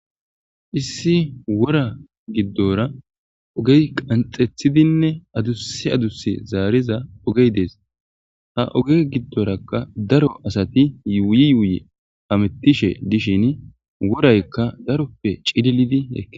Issi wora giddora ogey qanxethidinne adusi adusi zaariza ogey dees ha oge giddorakka daro asati yuuyi yuuyi hamettishe dishin woraykka daroppe cililidi eke.